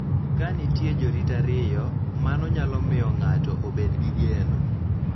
Ka nitie jorit ariyo, mano nyalo miyo ng�ato obed gi geno .